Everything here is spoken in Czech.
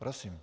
Prosím.